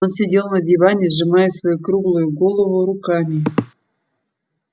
он сидел на диване сжимая свою круглую голову руками